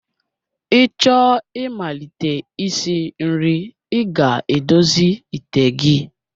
Ị chọọ imalite isi nri, ị ga-edozi ite gị